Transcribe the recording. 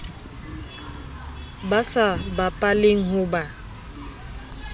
ba sa bapaleng ho ba